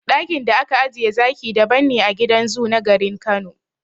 Daƙin da aka ajiye zaki daban ne a gidan zoo na garin Kano.